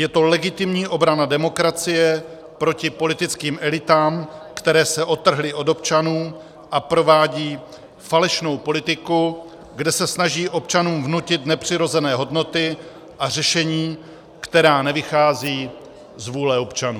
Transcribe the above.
Je to legitimní obrana demokracie proti politickým elitám, které se odtrhly od občanů a provádí falešnou politiku, kde se snaží občanům vnutit nepřirozené hodnoty a řešení, která nevychází z vůle občanů.